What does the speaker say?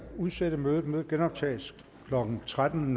udsætte mødet mødet genoptages klokken tretten